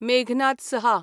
मेघनाद सहा